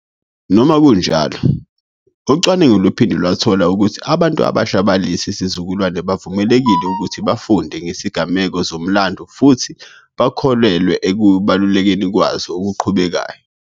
Noma kunjalo, ucwaningo luphinde lwathola ukuthi abantu abasha balesi sizukulwane bavulelekile ukuthi bafunde ngezigameko zomlando futhi bakholelwe ekubalulekeni kwazo okuqhubekayo.